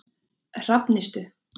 Hrafnistu